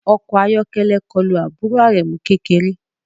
Ọkọ̀ ayọ́kẹ́lẹ́ kọlu àbúrò Aremu kékeré